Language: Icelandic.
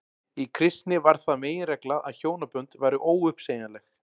í kristni varð það meginregla að hjónabönd væru óuppsegjanleg